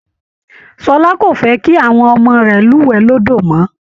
Ṣọlá kò fẹ́ kí àwọn ọmọ rẹ̀ lúwẹ̀ẹ́ lódó mọ́